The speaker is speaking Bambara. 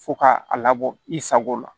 Fo ka a labɔ i sago la